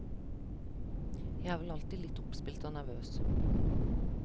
Jeg er vel alltid litt oppspilt og nervøs.